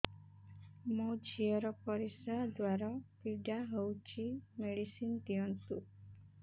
ମୋ ଝିଅ ର ପରିସ୍ରା ଦ୍ଵାର ପୀଡା ହଉଚି ମେଡିସିନ ଦିଅନ୍ତୁ